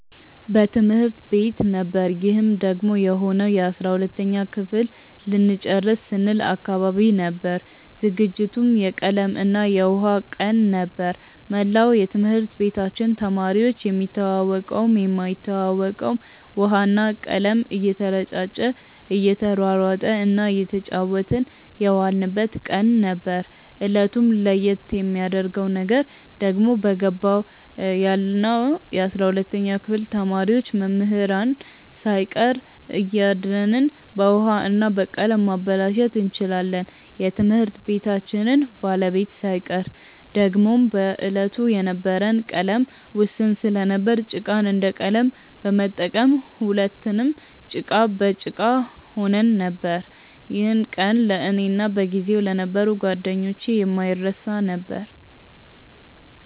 በትምህርት ቤት ነበር ይህም ደግሞ የሆነው የ12ተኛ ክፍል ልንጨርስ ስንል አካባቢ ነበር። ዝግጅቱም የቀለም እና የውሃ ቀን ነበር። መላው የትምህርት ቤታችን ተማሪዎች የሚተዋወቀውም የማይተዋወቀውም ውሃ እና ቀለም እየተረጫጨ እየተሯሯጠ እና እየተጫወትን የዋልንበት ቀን ነበር። እለቱን ለየት የሚያረገው ነገር ደግሞ በገባው ያለነው የ12ተኛ ክፍል ተማሪዎች መምህራንን ሳይቀር እያደንን በውሀ እና በቀለም ማበላሸት እንችላለን የትምህርት ቤታችንን ባለቤት ሳይቀር። ደግሞም በዕለቱ የነበረን ቀለም ውስን ስለነበር ጭቃን እንደ ቀለም በመጠቀም ሁለትንም ጭቃ በጭቃ ሆነን ነበር። ይህ ቀን ለእኔ እና በጊዜው ለነበሩ ጓደኞቼ የማይረሳ ነበር።